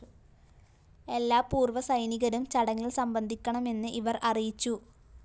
എല്ലാ പൂര്‍വ്വ സൈനികരും ചടങ്ങില്‍ സംബന്ധിക്കണമെന്ന് ഇവര്‍ അറിയിച്ചു